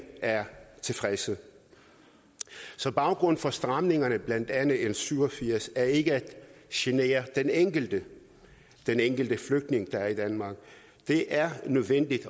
er tilfredse så baggrunden for stramningerne blandt andet l syv og firs er ikke at genere den enkelte den enkelte flygtning der er i danmark det er nødvendigt